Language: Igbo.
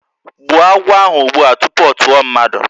Gbuo agwọ ahụ ụgbụa tupu ọ tụọ mmadụ!